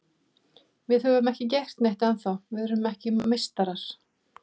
Við höfum ekki gert neitt ennþá, við erum ekki meistarar.